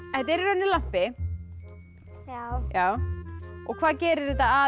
er í rauninni lampi já og hvað gerir þetta að